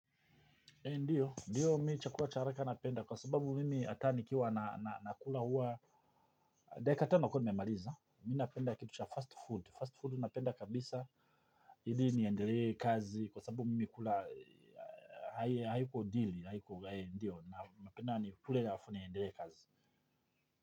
Ee ndiyo ndiyo mi chakula charaka napenda kwa sababu mimi ata nikiwa nakula huwa dakika tano kuwa nimemaliza mi napenda kitu cha fast food fast food napenda kabisa hili niendelee kazi kwa sababu mimi kula hay haiko deal haiko ndiyo na napenda nikule halafu niendelee kazi.